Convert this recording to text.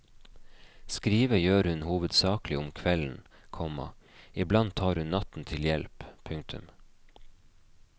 Skrive gjør hun hovedsakelig om kvelden, komma iblant tar hun natten til hjelp. punktum